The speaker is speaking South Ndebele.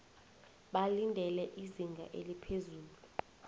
balindele izinga eliphezulu